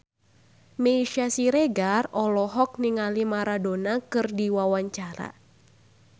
Meisya Siregar olohok ningali Maradona keur diwawancara